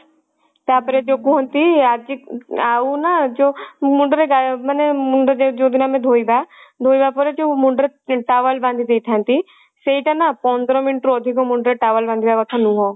ତାପରେ ଯଉ କୁହନ୍ତି ଆଜି ଆଉ ନା ଯଉ ମୁଣ୍ଡ ରେ ଗାଏବ ମାନେ ମୁଣ୍ଡ ମାନେ ଯଉଦିନ ଆମେ ଧୋଇବା ଧୋଇବା ପରେ ଯଉ ମୁଣ୍ଡ ରେ towel ବାନ୍ଧିଦେଇଥାନ୍ତି ସେଇଟା ନା ପନ୍ଦର minute ରୁ ଅଧିକ ମୁଣ୍ଡ ରେ towel ବାନ୍ଧିବା କଥା ନୁହଁ